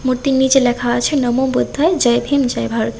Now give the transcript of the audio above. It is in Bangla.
মূর্তির নিচের লেখা আছে নমো বুদ্ধয় জয় হিন্দ জয় ভারাত ।